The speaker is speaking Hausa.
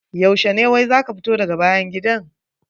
Yaushe ne wai za ka fito daga bayan gidan?